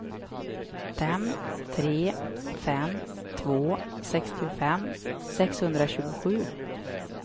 fem tre fem två sextiofem sexhundratjugosju